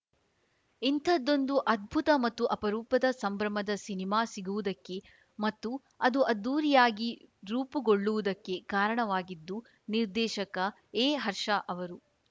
ಇಂಥದ್ದೊಂದು ಅದ್ಭುತ ಮತ್ತು ಅಪರೂಪದ ಸಂಭ್ರಮದ ಸಿನಿಮಾ ಸಿಗುವುದಕ್ಕೆ ಮತ್ತು ಅದು ಅದ್ದೂರಿಯಾಗಿ ರೂಪುಗೊಳ್ಳುವುದಕ್ಕೆ ಕಾರಣವಾಗಿದ್ದು ನಿರ್ದೇಶಕ ಎ ಹರ್ಷ ಅವರು